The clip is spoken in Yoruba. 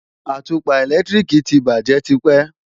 Àtùpà ẹ̀lẹ́tíríkì ti bàjé tipẹ́